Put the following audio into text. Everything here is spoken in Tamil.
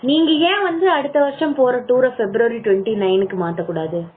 நீங்க ஏன் வந்து அடுத்த வருஷம் போற tour அஹ February Twenty nine .க்கு மாத்த கூடாது